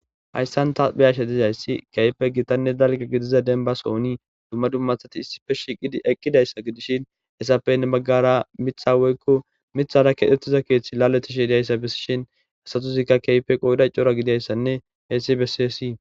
Hayssan ta beyashe tizayssi keype gitanne dalga gidiza denba sooni dumma dummathati issife shiqi eqqidayssa gidishin hesapenne maggara mitha woykko mithara kedhettiza keeththi laletishidiayssa bissishin hasatuzikka keype qoyda cora gidayssanne heessi besisii